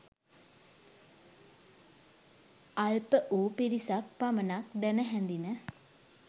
අල්ප වූ පිරිසක් පමණක් දැන හැඳින